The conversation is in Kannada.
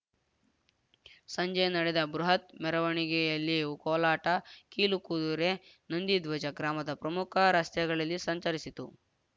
ಸಂಜೆ ನಡೆದ ಬೃಹತ್‌ ಮೆರವಣಿಗೆಯಲ್ಲಿ ಕೋಲಾಟ ಕೀಲು ಕುದುರೆ ನಂದಿಧ್ವಜ ಗ್ರಾಮದ ಪ್ರಮುಖ ರಸ್ತೆಗಳಲ್ಲಿ ಸಂಚರಿಸಿತು